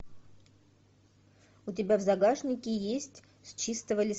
у тебя в загашнике есть с чистого листа